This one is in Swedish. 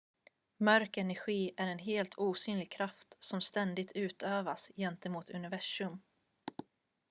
mörk energi är en helt osynlig kraft som ständigt utövas gentemot universum